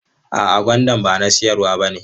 A'a, gwandan ba na siyarwa bane.